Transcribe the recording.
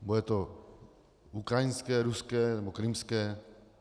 Bude to ukrajinské, ruské nebo krymské?